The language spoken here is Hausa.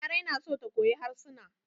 Larai na so ta koyi harsuna.